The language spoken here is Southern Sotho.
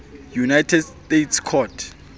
united states court